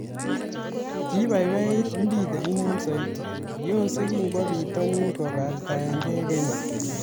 Kiibaibait Mbithe inoni saoti, yose kikwo pitonin kobartaengee kenya